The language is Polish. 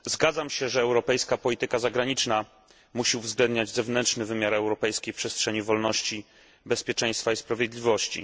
Zgadzam się, że europejska polityka zagraniczna musi uwzględniać zewnętrzny wymiar europejskiej przestrzeni wolności, bezpieczeństwa i sprawiedliwości.